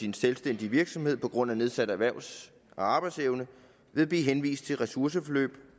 en selvstændig virksomhed på grund af nedsat erhvervs arbejdsevne vil blive henvist til ressourceforløb